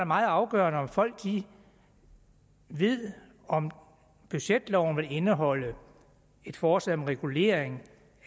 meget afgørende om folk ved om budgetloven vil indeholde et forslag om regulering